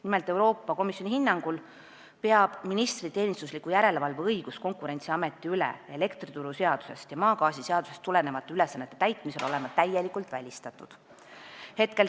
Nimelt, Euroopa Komisjoni hinnangul peab ministri teenistusliku järelevalve õigus Konkurentsiameti üle elektrituruseadusest ja maagaasiseadusest tulenevate ülesannete täitmisel olema täielikult välistatud.